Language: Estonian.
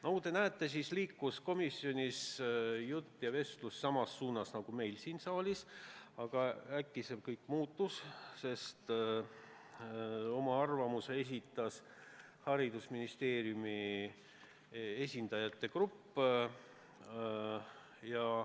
Nagu te näete, liikus komisjonis jutt samu radu mööda nagu meil siin saalis, aga äkki see kõik muutus, sest oma arvamuse esitas haridusministeeriumi esindajate grupp.